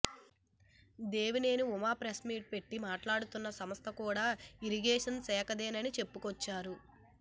Devineni Uma press meet పెట్టి మాట్లాడుతున్న స్దలం కూడా ఇరిగేషన్ శాఖదేనని చెప్పుకొచ్చారు